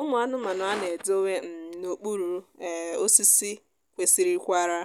ụmụ anụmanụ a na-edowe um n'okpuru um osisi kwesịrịkwara